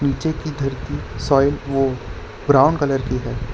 नीचे की धरती सॉइल वो ब्राऊन कलर की है।